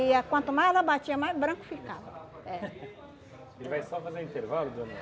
E ah quanto mais ela batia, mais branco ficava. Ele vai só fazer um intervalo, dona